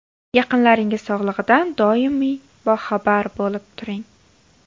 Yaqinlaringiz sog‘lig‘idan doimiy boxabar bo‘lib turing.